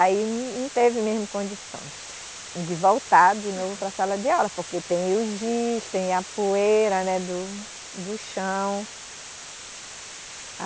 Aí não teve mesmo condições de voltar de novo para a sala de aula, porque tem o giz, tem a poeira né do do chão.